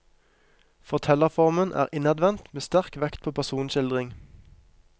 Fortellerformen er innadvendt med sterk vekt på personskildring.